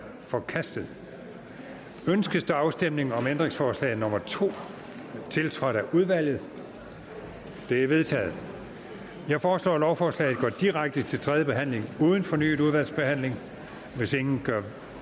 forkastet ønskes afstemning om ændringsforslag nummer to tiltrådt af udvalget det er vedtaget jeg foreslår at lovforslaget går direkte til tredje behandling uden fornyet udvalgsbehandling hvis ingen gør